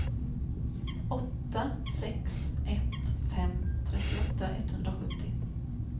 åtta sex ett fem trettioåtta etthundrasjuttio